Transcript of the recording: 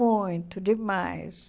Muito, demais.